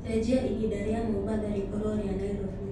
cenjĩaĩhĩnda rĩa mombatha rikorwo ria nyairobi